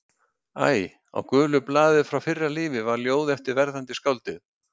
Æ. Á gulu blaði úr fyrra lífi var ljóð eftir verðandi skáldið.